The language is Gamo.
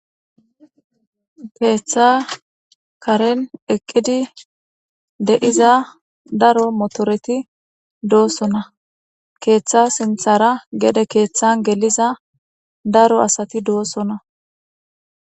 keeththa karen eqqidi de7iza daro motoreti doosona keeththa sinthara gede keeththan geliza daro asati doosona.